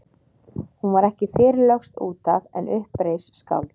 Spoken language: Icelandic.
Hún var ekki fyrr lögst út af en upp reis skáld.